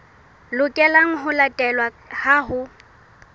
lokelang ho latelwa ha ho